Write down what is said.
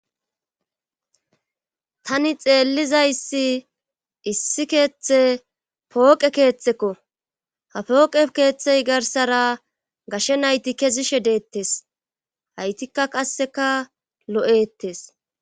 tani xeellizayssi issi keeththe pooqe keeththekko ha pooqe keeththey garsara gashe nayti kezishe deettes haytikka qasseka lo7ettes